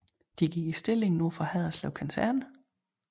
De gik i stilling nord for Haderslev Kaserne